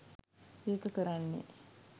ඒක කරන්නේ